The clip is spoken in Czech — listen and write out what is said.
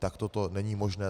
Takto to není možné.